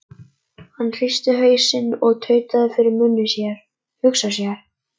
Hann hristi hausinn og tautaði fyrir munni sér: Hugsa sér.